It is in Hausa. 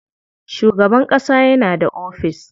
Shugaban ƙasa yana da ofis.